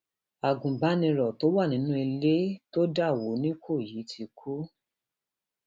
agunbaniro tó wà nínú ilé nínú ilé tó dà wọ nìkọyí ti kú